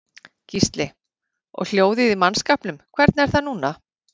Gísli: Og hljóðið í mannskapnum hvernig er það núna?